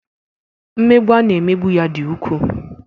Mmegbu a na-emegbu ya dị ukwuu.